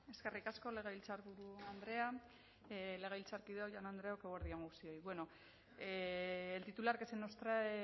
eskerrik asko legebiltzarburu andrea legebiltzarkideok jaun andreok eguerdi on guztioi el titular que se nos trae